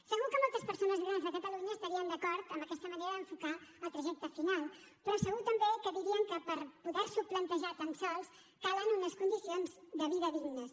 segur que moltes persones grans de catalunya estarien d’acord amb aquesta manera d’enfocar el trajecte final però segur també que dirien que per poder s’ho plantejar tan sols calen unes condicions de vida dignes